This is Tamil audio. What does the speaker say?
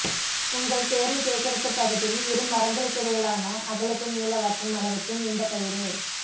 உங்கள் தேர்வு சேகரிப்பு பகுதியில் இரு மரங்களுக்கிடையிலான அகலத்தை நீளவாக்கும் அளவுக்கு நீண்ட கயிறு